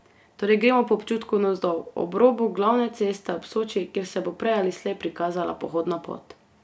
Torej gremo po občutku navzdol, ob robu glavne ceste ob Soči, kjer se bo prej ali slej prikazala pohodna pot.